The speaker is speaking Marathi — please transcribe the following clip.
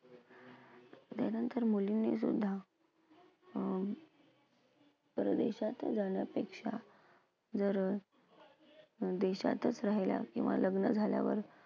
त्यानंतर मुलींनी सुद्धा अं परदेशात जाण्यापेक्षा जर अं देशातच राहील्या किंवा लग्न झाल्यावर